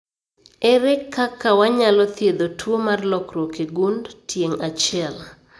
Ere kaka wanyalo thiedho tuo mar lokruok e gund tieng' achiel?